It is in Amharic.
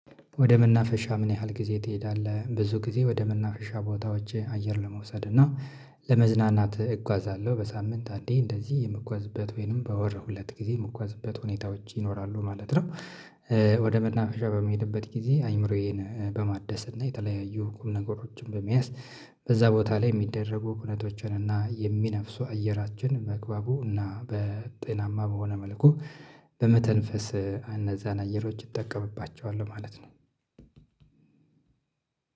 ወደ መናፈሻ ምን ያህል ጊዜ ትሄዳለህ? ብዙ ጊዜ ወደ መናፈሻ ቦታዎች አየር ለመውሰድ እና ለመዝናናት እጓዛለሁ በሳምንት አንዴ እንደዚህ የምጓዝበት ወይንም በወር ሁለት ጊዜ የምጓዝበት ሁኔታ ሁኔታዎች ይኖራሉ ማለት ነው ወደ መናፈሻ በምሄድበት ጊዜ አይምሮዬን በማደስ እና የተለያዩ ኩል ነገሮችን በመያዝ በዛ ቦታ ላይ የሚደረጉ ኩነቶቸን እና የሚነፍሱ አየራችን ባግባቡ እና በጤናማ በሆነ መልኩ በመተንፈስ እነዛን አየሮች እጠቀምባቸዋል ማለት ነው